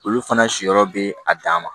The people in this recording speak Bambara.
Olu fana si yɔrɔ bɛ a dan ma